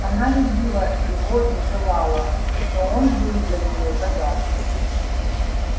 она любила его и желала но он был для неё загадкой